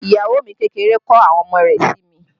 Iyawo mi kékeré kọ́ àwọn ọmọ rẹ̀ sí mi